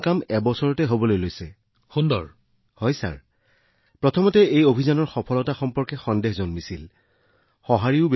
আৰম্ভণিতে মই অতি শংকিত হৈ পৰিছিলো মই খুব ভয় খাইছিলো যে মই গোটেই জীৱন এইটো কৰিব পাৰিম নে নোৱাৰোঁ কিন্তু কিছু সমৰ্থন পাইছিলো আৰু ২০২০ চনলৈকে আমি যথেষ্ট সততাৰে সংগ্ৰাম কৰি আছিলো